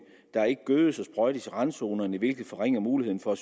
gødes og sprøjtes i randzonerne hvilket forringer muligheden for